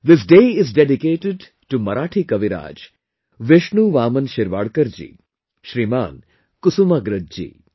This day is dedicated to Marathi Kaviraj, Vishnu Vaman Shirvadkar ji, Shriman Kusumagraj ji